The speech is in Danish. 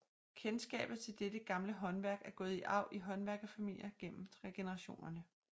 Kendskabet til dette gamle håndværk er gået i arv i håndværkerfamilier gennem generationerne